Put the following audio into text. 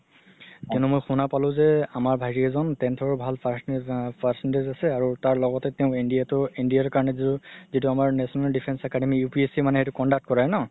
কিন্তু মই শুনা পালো যে আমাৰ ভাইতি এজন tenth ৰ ভাল percentage আছে আৰু লগতে তেওঁ NDA তো NDA ৰ কাৰণে যিতো আমাৰ national defence academy UPSC সেইটো conduct কৰে ন